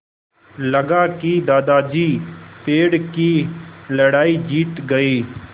लगा कि दादाजी पेड़ की लड़ाई जीत गए